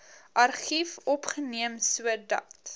argief opgeneem sodat